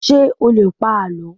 ṣé o lè pa àlọ́?